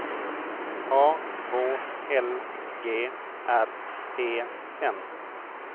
A H L G R E N